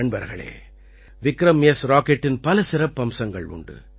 நண்பர்களே விக்ரம்எஸ் ராக்கெட்டின் பல சிறப்பம்சங்கள் உண்டு